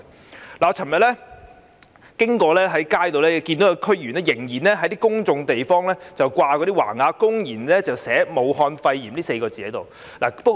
我昨天在街上經過看到有區議員仍然在公眾地方掛上橫額，公然寫"武漢肺炎 "4 個字。